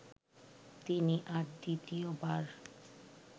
তিনি আর দ্বিতীয়বার